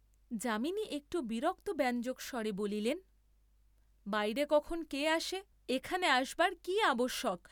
যামিনী একটু বিরক্তব্যঞ্জক স্বরে বলিলেন বাইরে কখন কে আসে, এখানে আসবার কি আবশ্যক?